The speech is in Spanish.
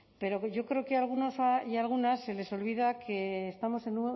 pero yo creo que a algunos y a algunas se les olvida que estamos en